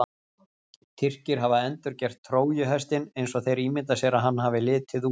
Tyrkir hafa endurgert Trójuhestinn eins og þeir ímynda sér að hann hafi litið út.